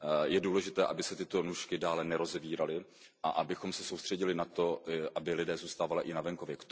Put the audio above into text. Je důležité, aby se tyto nůžky dále nerozevíraly a abychom se soustředili na to, aby lidé zůstávali i na venkově.